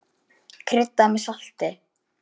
Kryddað með salti.